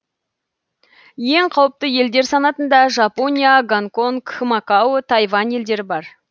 ең қауіпті елдер санатында жапония гонконг макао тайвань елдері бар